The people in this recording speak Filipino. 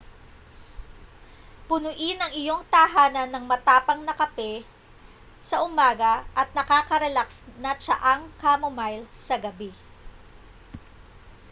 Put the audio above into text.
punuin ang iyong tahanan ng matapang na kape sa umaga at nakakarelaks na tsaang chamomile sa gabi